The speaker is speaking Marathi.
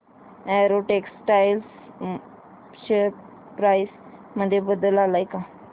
अॅरो टेक्सटाइल्स शेअर प्राइस मध्ये बदल आलाय का